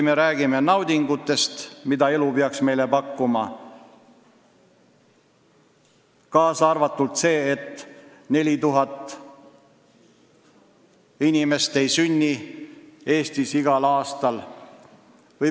Me räägime tihti naudingutest, mida elu peaks meile pakkuma, aga ka sellest, et Eestis jääb igal aastal sündimata 4000 inimest.